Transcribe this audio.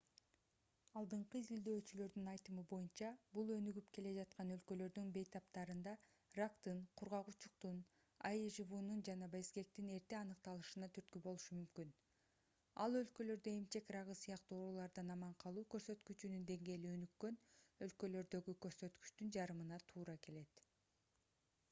алдыңкы изилдөөчүлөрдүн айтымы боюнча бул өнүгүп келе жаткан өлкөлөрдүн бейтаптарында рактын кургак учуктун аижвунун жана безгектин эрте аныкталышына түрткү болушу мүмкүн ал өлкөлөрдө эмчек рагы сыяктуу оорулардан аман калуу көрсөткүчүнүн деңгээли өнүккөн өлкөлөрдөгү көрсөткүчтүн жарымына туура келет